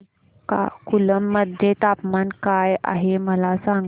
श्रीकाकुलम मध्ये तापमान काय आहे मला सांगा